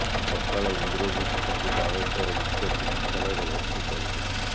ସକାଳେ ଇନ୍ଦ୍ରଜିତ ତାଙ୍କୁ ବାଲେଶ୍ୱର ମୁଖ୍ୟ ଚିକିତ୍ସାଳୟରେ ଭର୍ତ୍ତି କରିଥିଲେ